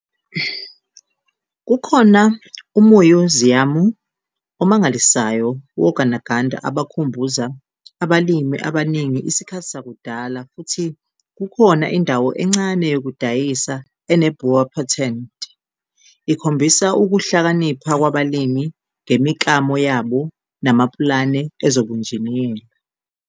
Kukhona umuyuziyamu omangalisayo wogandaganda abakhumbuza abalimi abaningi isikhathi sakudala futhi kukhona indawo encane yokudayisa ene'boerepatente' ikhombisa ukuhlakanipha kwabalimi ngemiklamo yabo namapulane ezobunjiniyela.